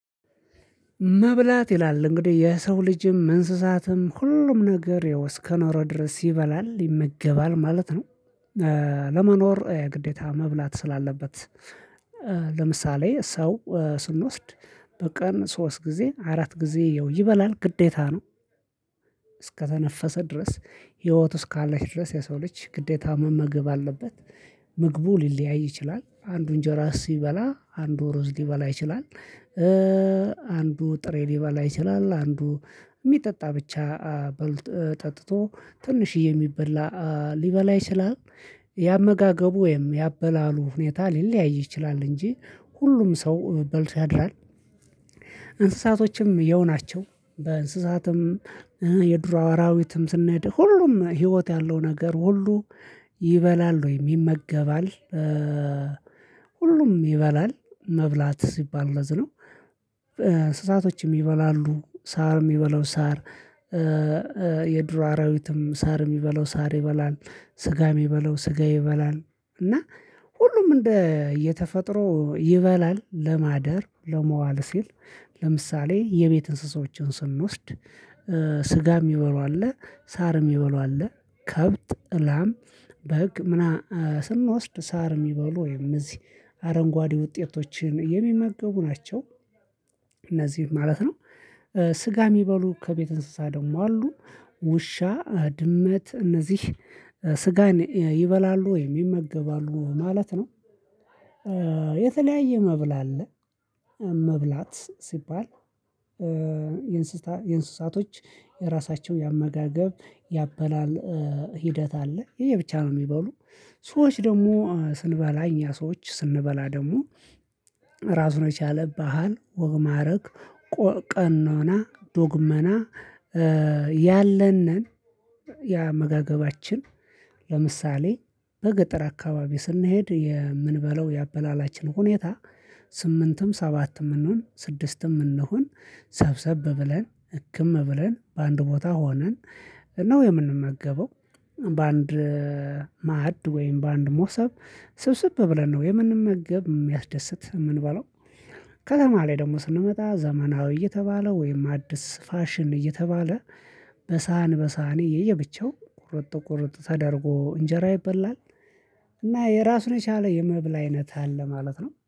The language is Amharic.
መብላት ይላል እንግዲህ የሰው ልጅም መንስሳትም ሁሉም ነገር ይኸው እስከኖረ ድረስ ይበላል ይመገባል ማለት ነው። ለመኖር ግዴታ መብላት ስላለበት ለምሳሌ ሰው ስንወስድ በቀን ሶስት ጊዜ አራት ጊዜ ይበላል ግዴታ ነው። እስከተነፈሰ ድረስ ህይወት እስካለች ድረስ የሰው ልጅ ግዴታ መመገብ አለበት። ምግቡ ሊለያይ ይችላል። አንዱ እንጀራ ሲበላ አንዱ ሩዝ ሊበላ ይችላል። አንዱ ጥሬ ሊበላ ይችላል፣ አንዱ የሚጠጣ ብቻ በልጥ ጠጥቶ ትንሽዬ የሚበላ ሊበላ ይችላል ያመጋገቡ ወይም ያበላሉ ሁኔታ ሊለያይ ይችላል እንጂ ሁሉም ሰው በልቶ ያድራል። እንስሳቶችም የው ናቸው፣ በእንስሳትም የዱር አዋራዊትም ስናይ ሁሉም ህይወት ያለው ነገር ሁሉ ይበላል ወይ ይመገባል። ሁሉም ይበላል። መብላት ሲባል ለዝነው እሳቶችም ይበላሉ ሳርም ይበለው ሳር የድሮ አራዊትም ሳርም ይበለው ሳር ይበላል ስጋ የሚበላው ስጋ ይበላል እና ሁሉም እንደ እየተፈጥሮ ይበላል ለማደር ለመዋል ሲል ለምሳሌ የቤት እንስሳዎችን ስንወስድ ስጋ የሚበሉ አለ ሳር የሚበሉ አለ ከብት፣ እላም፣ በግ ምና ስንወስድ ሳር የሚበሉ ወይም እዚህ አረንጓዴ ውጤቶችን የሚመገቡ ናቸው። እነዚህም ማለት ነው። ስጋ የሚበሉ ከቤት እንስሳ ደግሞ አሉ ውሻ፣ ድመት እነዚህ ስጋን ይበላሉ ወይም ይመገባሉ ማለት ነው። የተለያየ መብል አለ መብላት ሲባል የእንስሳቶች የራሳቸው ያመጋገብ ያበላል ሂደት አለ ይሄ ብቻ ነው የሚበሉ ሰዎች ደግሞ ስንበላኝ ያ ሰዎች ስንበላ ደግሞ ራሱን የቻለብሃል ወግ ማዕረግ ቀኖና ዶግመና ያለን ነን ያመጋገባችን ለምሳሌ በገጠር አካባቢ ስንሄድ የምንበለው ያበላላችን ሁኔታ ስምንትም ሰባትም እንሁን ስድስትም እንሁን ሰብሰብ ብለን ህክም ብለን በአንድ ቦታ ሆነን ነው የምንመገበው። በአንድ ማድ ወይም በአንድ ሞሰብ ስብስብ ብለን ነው የምንመገብ የሚያስደስት የምንበለው ከተማ ላይ ደግሞ ስንመጣ ዘመናዊ እየተባለ ወይም አዲስ ፋሽን እየተባለ በሳህን፣ በሳህኔ የየብቻው ቁርጥ፣ ቁርጥ ተደርጎ እንጀራ ይበላል እና የራሱን የቻለ የመብላ አይነት አለ ማለት ነውኀ።